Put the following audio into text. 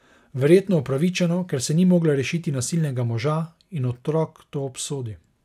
Verjetno upravičeno, ker se ni mogla rešiti nasilnega moža, in otrok to obsodi.